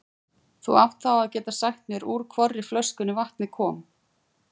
Þú átt þá að geta sagt mér úr hvorri flöskunni vatnið kom.